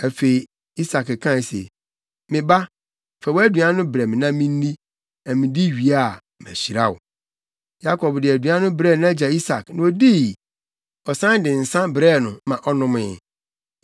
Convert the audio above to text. Afei, Isak kae se, “Me ba, fa wʼaduan no brɛ me na minni, na midi wie a, mahyira wo.” Yakob de aduan no brɛɛ nʼagya Isak, na odii; ɔsan de nsa brɛɛ no maa ɔnomee.